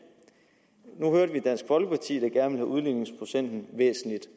vi hørte dansk folkeparti der gerne udligningsprocenten væsentligt